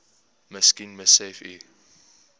miskien besef u